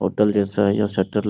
hotel जैसा यहाँ shutter ल --